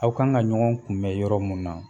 Aw kan ka ɲɔgɔn kun bɛn yɔrɔ mun na